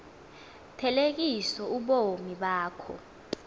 thelekisa ubomi bakho